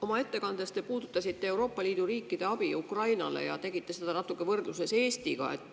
Oma ettekandes te puudutasite Euroopa Liidu riikide antavat abi Ukrainale ja võrdlesite seda natuke Eestiga.